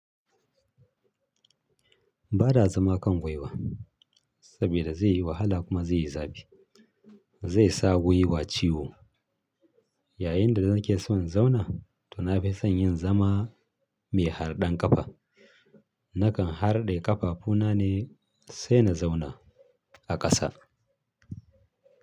Ba na zama kan gwiwa saboda zai yi wahala kuma zai yi zafi. Zai sa gwiwa ciwo. Yayinda nake son zauna to na fi son yin zama mai harɗan ƙafa. Nakan harɗe ƙafafu na ne sai na zauna a ƙasa.